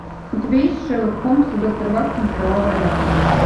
у тебя есть шерлок холмс и доктор ватсон кровавая надпись